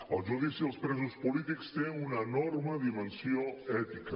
el judici als presos polítics té una enorme dimensió ètica